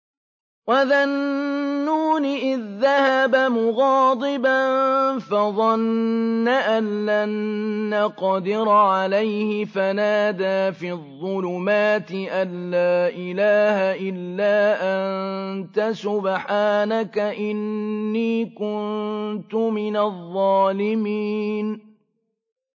وَذَا النُّونِ إِذ ذَّهَبَ مُغَاضِبًا فَظَنَّ أَن لَّن نَّقْدِرَ عَلَيْهِ فَنَادَىٰ فِي الظُّلُمَاتِ أَن لَّا إِلَٰهَ إِلَّا أَنتَ سُبْحَانَكَ إِنِّي كُنتُ مِنَ الظَّالِمِينَ